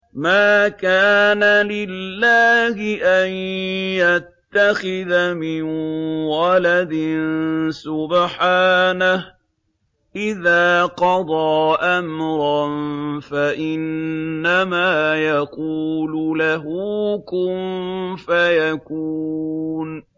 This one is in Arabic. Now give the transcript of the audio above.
مَا كَانَ لِلَّهِ أَن يَتَّخِذَ مِن وَلَدٍ ۖ سُبْحَانَهُ ۚ إِذَا قَضَىٰ أَمْرًا فَإِنَّمَا يَقُولُ لَهُ كُن فَيَكُونُ